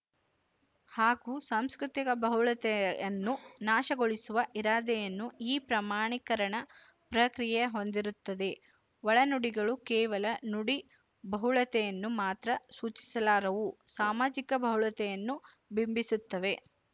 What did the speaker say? ಹಾಗೂ ಸಾಂಸ್ಕೃತಿಕ ಬಹುಳತೆಯನ್ನು ನಾಶಗೊಳಿಸುವ ಇರಾದೆಯನ್ನೂ ಈ ಪ್ರಮಾಣೀಕರಣ ಪ್ರಕ್ರಿಯೆ ಹೊಂದಿರುತ್ತದೆ ಒಳನುಡಿಗಳು ಕೇವಲ ನುಡಿ ಬಹುಳತೆಯನ್ನು ಮಾತ್ರ ಸೂಚಿಸಲಾರವು ಸಾಮಾಜಿಕ ಬಹುಳತೆಯನ್ನು ಬಿಂಬಿಸುತ್ತವೆ